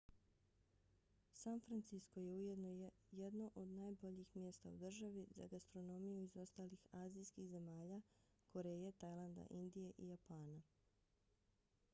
san francisko je ujedno jedno od najboljih mjesta u državi za gastronomiju iz ostalih azijskih zemalja: koreje tajlanda indije i japana